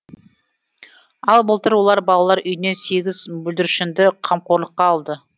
ал былтыр олар балалар үйінен сегіз бүлдіршінді қамқорлыққа алды